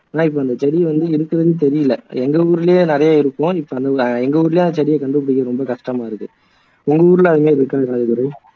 ஆனா இப்போ அந்த செடியை வந்து இருக்குறதே தெரியல எங்க ஊர்லயே நிறைய இருக்கும் இப்போ எங்க ஊர்லயே அந்த செடியை கண்டுபுடிக்குறது ரொம்ப கஷ்டமா இருக்கு உங்க ஊர்ல அதிகம் இருக்கா ராஜதுரை